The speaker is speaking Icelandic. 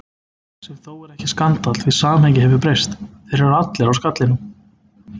Sem þó er ekki skandall því samhengið hefur breyst: þeir eru allir á skallanum.